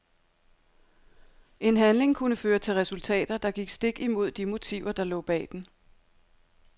En handling kunne føre til resultater, der gik stik imod de motiver der lå bag den.